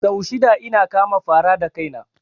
Sau shida ina kama fara da kaina